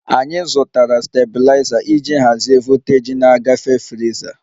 Anyị zụtara stabiliza iji hazie voltaji na-agafe friza